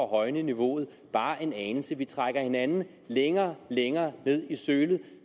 højne niveauet bare en anelse vi trækker hinanden længere og længere ned i sølet